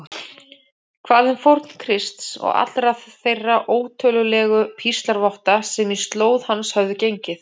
Hvað um fórn Krists og allra þeirra ótölulegu píslarvotta sem í slóð hans höfðu gengið?